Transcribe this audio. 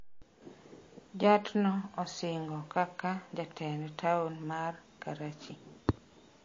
Jatno osing'o kaka jatend taon mar Karachi